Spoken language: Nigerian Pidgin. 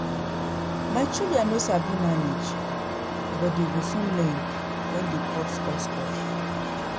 My children no sabi manage but dey go soon learn wen dey cut us off